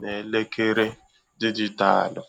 na elekere dijịtalụ